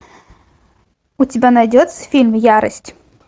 у тебя найдется фильм ярость